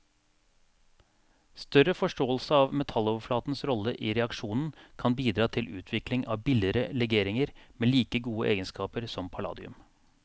Større forståelse av metalloverflatens rolle i reaksjonen kan bidra til utvikling av billigere legeringer med like gode egenskaper som palladium.